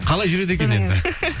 қалай жүреді екен енді